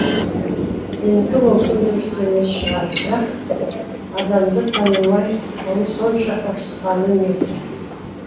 менікі мүмкін дұрыс емес шығар бірақ адамды танымай сонша ұрысқаны несі